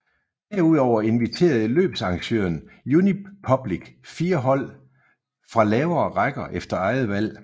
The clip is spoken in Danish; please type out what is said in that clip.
Derudover inviterede løbsarrangøren Unipublic fire hold fra lavere rækker efter eget valg